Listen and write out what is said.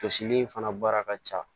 Jɔsili in fana baara ka ca